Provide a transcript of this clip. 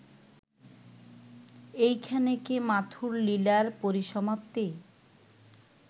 এইখানে কি মাথুর লীলার পরিসমাপ্তি